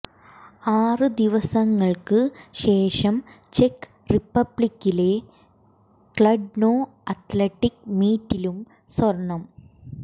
ആറ് ദിവസങ്ങള്ക്ക് ശേഷം ചെക്ക് റിപ്പബ്ലിക്കിലെ ക്ലഡ്നോ അത്ലറ്റിക് മീറ്റിലും സ്വര്ണം